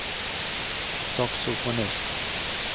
saksofonist